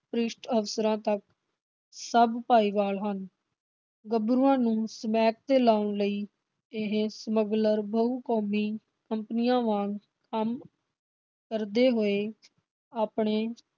ਭ੍ਰਿਸ਼ਟ ਅਫਸਰਾਂ ਤੱਕ ਸਭ ਭਾਈਵਾਲ ਹਨ। ਗੱਭਰੂਆਂ ਨੂੰ ਸਮੈਕ ਤੇ ਲਾਉਣ ਲਈ ਇਹ ਸਮਗਲਰ ਬਹੁ ਕੌਮੀ ਕੰਪਨੀਆਂ ਵਾਗ ਕੰਮ ਕਰਦੇ ਹੋਏ ਆਪਣੇ